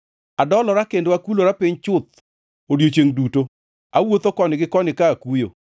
Adolora kendo akulora piny chuth odiechiengʼ duto, awuotho koni gi koni, ka akuyo.